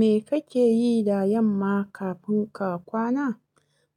Me kake yi da yamma kafin ka kwana?